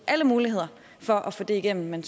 alle muligheder for at få det igennem man